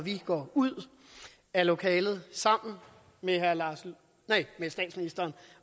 vi går ud af lokalet sammen med statsministeren